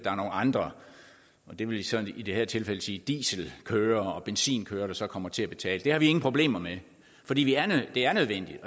andre og det vil så i det her tilfælde sige dieselkørere og benzinkørere der så kommer til at betale det har vi ingen problemer med fordi det er nødvendigt